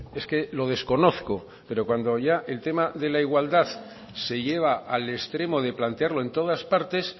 es que lo desconozco pero cuando ya el tema de la igualdad se lleva al extremo de plantearlo en todas partes